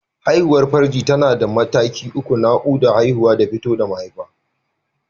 Haihuwar farji tana da mataki uku: Naƙuda, Haihuwa da fito da mahaifa.